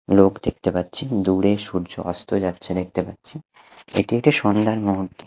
লোক দেখতে পাচ্ছি দূরে সূর্য অস্ত যাচ্ছে দেখতে পাচ্ছি এটি একটি সন্ধ্যার মুহূর্ত।